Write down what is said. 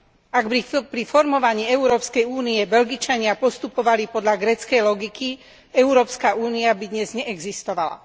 Ak by pri formovaní Európskej únie Belgičania postupovali podľa gréckej logiky, Európska únia by dnes neexistovala.